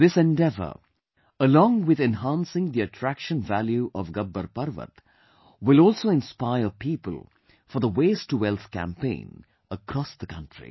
This endeavour, along with enhancing the attraction value of Gabbar Parvat, will also inspire people for the 'Waste to Wealth' campaign across the country